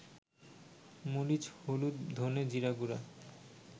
মরিচ-হলুদ-ধনে-জিরাগুঁড়া